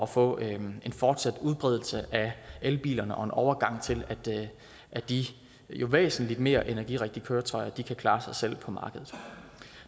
får en fortsat udbredelse af elbilerne og en overgang til at de jo væsentligt mere energirigtige køretøjer kan klare sig selv på markedet